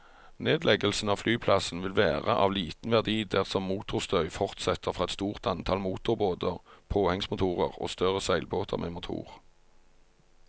Nedleggelsen av flyplassen vil være av liten verdi dersom motorstøy fortsetter fra et stort antall motorbåter, påhengsmotorer og større seilbåter med motor.